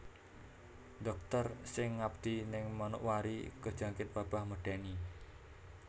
Dokter sing ngabdi ning Manokwari kejangkit wabah medeni